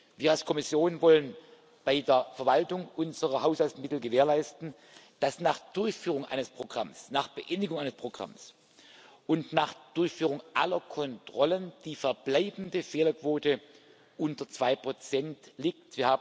Wir als Kommission wollen bei der Verwaltung unserer Haushaltsmittel gewährleisten, dass nach Durchführung eines Programms, nach Beendigung eines Programms und nach Durchführung aller Kontrollen die verbleibende Fehlerquote unter 2 liegt.